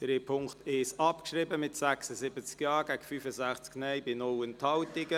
Sie haben den Punkt 1 abgeschrieben mit 76 Ja- gegen 65 Nein-Stimmen bei keiner Enthaltung.